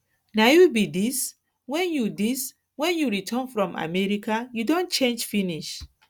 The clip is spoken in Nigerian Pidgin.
na you be dis wen you dis wen you return from america you don change finish